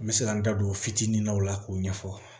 N bɛ se ka n da don fitini na o la k'o ɲɛfɔ